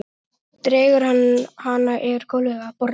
Dregur hana yfir gólfið að borðinu.